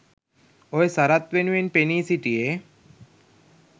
ඔය සරත් වෙනුවෙන් පෙනී සිටියේ